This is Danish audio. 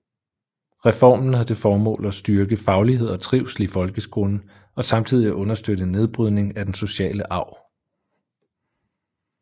Reformen havde til formål at styrke faglighed og trivsel i folkeskolen og samtidig understøtte en nedbrydning af den sociale arv